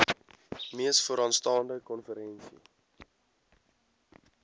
mees vooraanstaande konferensie